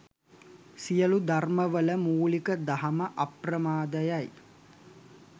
සියලු ධර්මවල මූලික දහම අප්‍රමාදය යි.